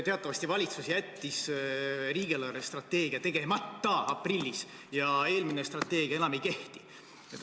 Teatavasti valitsus jättis riigi eelarvestrateegia aprillis tegemata ja eelmine strateegia enam ei kehti.